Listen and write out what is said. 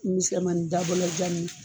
dabɔlɔjan